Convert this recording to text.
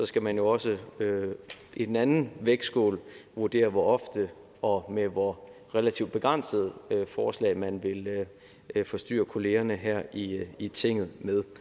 skal man jo også i den anden vægtskål vurdere hvor ofte og med hvor relativt begrænsede forslag man vil forstyrre kollegaerne her i i tinget